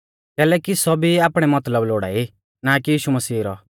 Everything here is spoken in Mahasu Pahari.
कैलैकि सौभी आपणै मतलब लोड़ाई ना कि यीशु मसीह रौ